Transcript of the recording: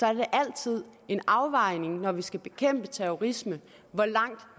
er det altid en afvejning når vi skal bekæmpe terrorisme hvor langt